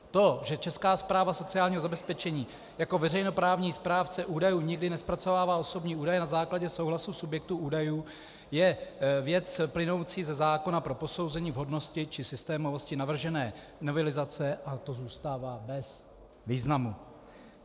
To, že Česká správa sociálního zabezpečení jako veřejnoprávní správce údajů nikdy nezpracovává osobní údaje na základě souhlasu subjektů údajů, je věc plynoucí ze zákona pro posouzení vhodnosti či systémovosti navržené novelizace a to zůstává bez významu.